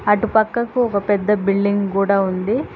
అటు పక్కకు ఒక పెద్ద బిల్డింగ్ కూడా ఉంది.